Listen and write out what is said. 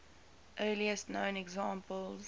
earliest known examples